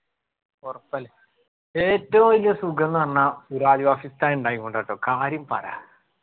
ഒറപ്പല്ല ഏറ്റും വെല്യ സുഖംന്ന്‌ പറഞ്ഞാ ഉസ്താദ് ഇണ്ടായോണ്ട ട്ടോ കാര്യം പറയാ